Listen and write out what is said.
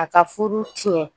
A ka furu tiɲɛ